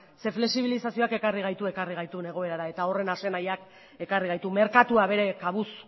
ze flexibilizazioak ekarri gaitu ekarri gaitun egoerara eta horren ase nahiak ekarri gaitu merkatua bere kabuz